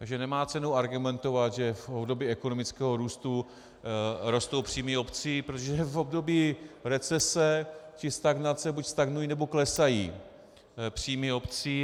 Takže nemá cenu argumentovat, že v období ekonomického růstu rostou příjmy obcí, protože v období recese či stagnace buď stagnují, nebo klesají příjmy obcí.